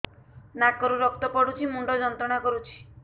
ନାକ ରୁ ରକ୍ତ ପଡ଼ୁଛି ମୁଣ୍ଡ ଯନ୍ତ୍ରଣା କରୁଛି